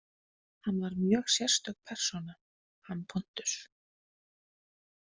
Hann var mjög sérstök persóna, hann Pontus.